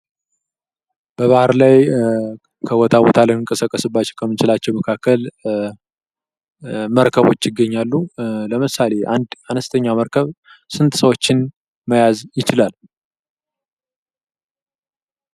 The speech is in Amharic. በባህር ላይ ከቦታ ቦታ ልንቀሳቀስባቸው ለምንችልባቸው መካከል መርከቦች ይገኛሉ። ለምሳሌ አንድ አነስተኛ መርከብ ስንት ሰዎችን መያዝ ይችላል?